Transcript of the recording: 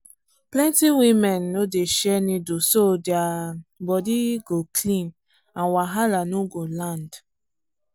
plenty women no dey share needle so their body go clean and wahala no go land.